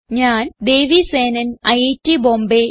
ഞാൻ ദേവി സേനൻ ഐറ്റ് ബോംബേ